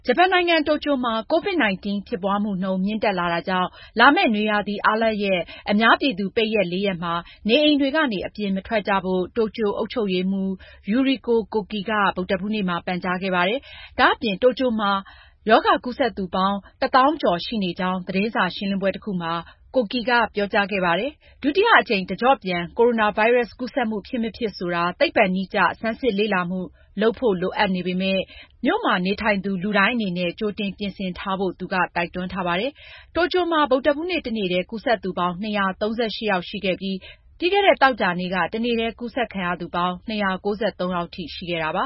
ဂျပန်နိုင်ငံ တိုကျိုမှာ COVID-19 ဖြစ်ပွားမှုနှုန်း မြင့်တက်လာတာကြောင့် လာမယ့် နွေရာသီ အားလပ်ရပ် အများပြည်သူအတွက် ပိတ်ရက် လေးရက်မှာ နေအိမ်တွေကနေ အပြင်မထွက်ကြဖို့ တိုကျိုအုပ်ချုပ်ရေးမှူး Yuriko Koike က ဗုဒ္ဓဟူးနေ့မှာ ပန်ကြားခဲ့ပါတယ်။ ဒါအပြင်တိုကျိုမြို့မှာ ရောဂါကူးစက်သူပေါင်း ၁၀,၀၀၀ ကျော်ရှိနေကြောင်း သတင်းရှင်းလင်းပွဲမှာ Koike ကပြောကြားခဲ့ပါတယ်။ ဒုတိယအကြိမ် တကျော့ပြန် ကိုရိုနာဗိုင်းရပ်စ်ကူးစက်မှု ဖြစ်မဖြစ်ဆိုတာ သိပ္ပံနည်းကျ ဆန်းစစ်လေ့လာမှု လုပ်ဖို့ လိုအပ်ပေမယ့် မြို့မှာ နေထိုင်သူ လူတိုင်း ကြိုတင်ပြင်ဆင်ထားဖို့ သူက တိုက်တွန်းခဲ့ပါတယ်။ တိုကျိုမှာ ဗုဒ္ဓဟူးနေ့ တနေ့ တည်း ကူးစက်သူပေါင်း ၂၃၈ ယောက်ရှိခဲ့ပြီးပြီးခဲ့တဲ့ သောကြာနေ့က တနေ့တည်း ကူးစက်ခံရသူပေါင်း၂၉၃ ယောက်ထိ ရှိခဲ့တာပါ